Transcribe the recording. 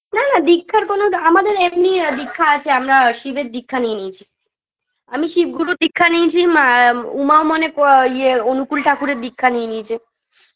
না না দীক্ষার কোন দ্ আমাদের এমনিই দীক্ষা আছে আমরা শিবের দীক্ষা নিয়ে নিয়েছি আমি শিব গুরুর দীক্ষা নিয়েছি মা এ উমাও মনে ক ইয়ে অনুকূল ঠাকুরের দীক্ষা নিয়ে নিয়েছে